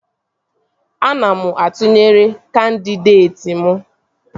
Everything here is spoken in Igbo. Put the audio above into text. Ana m atụnyere kandịdeeti m